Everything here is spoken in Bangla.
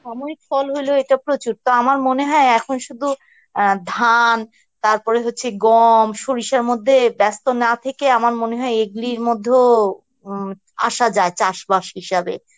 সাময়িক ফল হলেও এটা প্রচুর তা আমার মনে হয় এখন শুধু অ্যাঁ ধান তারপর হচ্ছে গম সরিষার মধ্যে ব্যস্ত না থেকে আমার মনে হয় এগুলির মধ্যেও উম আসা যায় চাষবাস হিসাবে